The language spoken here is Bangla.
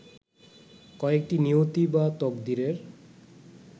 কয়েকটি নিয়তি বা তকদিরের